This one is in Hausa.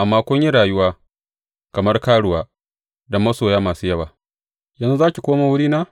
Amma kun yi rayuwa kamar karuwa da masoya masu yawa yanzu za ki komo wurina?